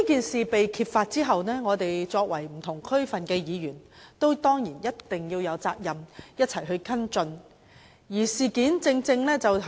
事情被揭發後，我們作為不同地區的區議員，當然有責任共同跟進。